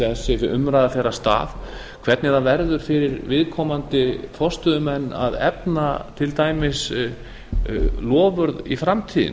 þessi umræða fer af stað hvernig verður fyrir viðkomandi forstöðumenn að efna til dæmis loforð í framtíðinni